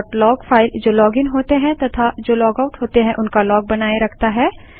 auth log file जो login होते हैं तथा जो लॉगआउट होते हैं उनका लॉग बनाए रखता है